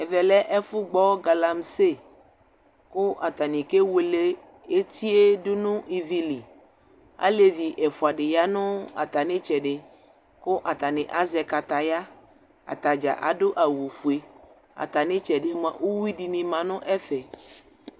Ɛvɛlɛ ɛfu gbɔ galamsi ku atani kewele etie du nu ivi li alevi ɛfuadi ya nu atamitsɛdi ku atani azɛ kataya atadza adu awu fue atamitsɛdi bi uwe dini ma nu ɛfɛ